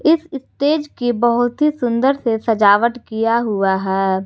इस स्टेज की बहुत ही सुंदर से सजावट किया हुआ है।